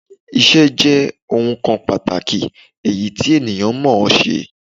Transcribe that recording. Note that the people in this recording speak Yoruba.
Ìṣé jé ohun kan pàtàkì èyí ti ènìyàn mò ó ṣe